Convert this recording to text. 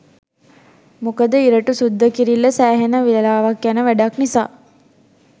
මොකද ඉරටු සුද්ද කිරිල්ල සෑහෙන වෙලාවක් යන වැඩක් නිසා.